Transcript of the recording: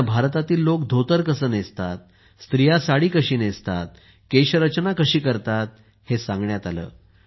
त्यांना भारतातील लोक धोतर कसे नेसतात साडी कशी नेसतात केशरचना कशी करतात हे सांगण्यात आले